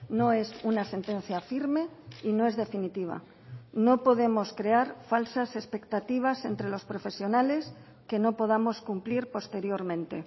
no es una sentencia firme y no es definitiva no podemos crear falsas expectativas entre los profesionales que no podamos cumplir posteriormente